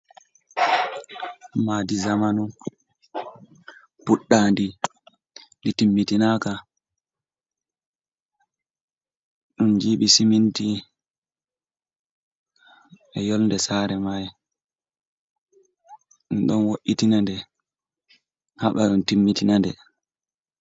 Madi zamanu puɗɗadi do timmitinaka ɗum jibi siminti e yolde sare mai ɗum ɗon wo’itinande haɓaɗun timmitinade.